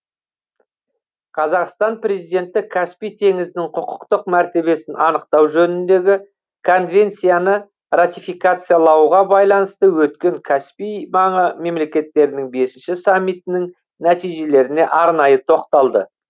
қазақстан президенті каспий теңізінің құқықтық мәртебесін анықтау жөніндегі конвенцияны ратификациялауға байланысты өткен каспий маңы мемлекеттерінің бесінші саммитінің нәтижелеріне арнайы тоқталды